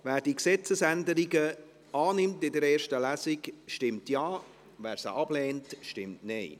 Wer diese Gesetzesänderungen in der ersten Lesung annimmt, stimmt Ja, wer diese ablehnt, stimmt Nein.